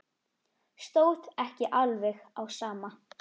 Stóð ekki alveg á sama.